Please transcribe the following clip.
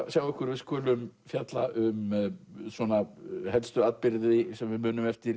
sjá ykkur við skulum fjalla um helstu atburði sem við munum eftir